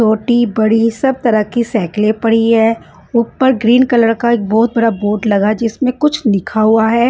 छोटी बड़ी सब तरह की साइकिलें पड़ी हैं ऊपर ग्रीन कलर का एक बहुत बड़ा बोट लगा है जिसमें कुछ लिखा हुआ है।